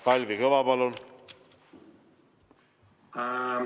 Kalvi Kõva, palun!